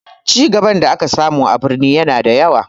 Cigaban da aka samu a birni ya na da yawa